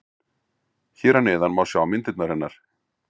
Hér að neðan má sjá myndirnar hennar.